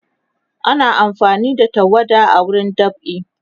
ana amfani da tawada a wurin dab'i